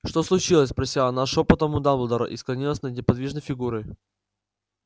что случилось спросила она шёпотом у дамблдора и склонилась над неподвижной фигурой